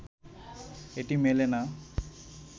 এটি মেলে না